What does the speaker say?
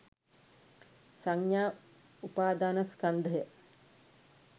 සංඥා උපාදානස්කන්ධය